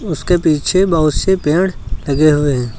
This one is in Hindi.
उसके पीछे बहुत से पेड़ लगे हुए हैं।